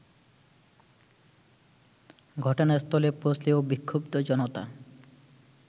ঘটনাস্থলে পৌঁছলেও বিক্ষুব্ধ জনতা